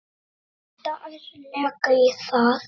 Detta ærlega í það.